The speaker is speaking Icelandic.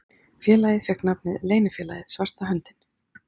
Félagið fékk nafnið Leynifélagið svarta höndin.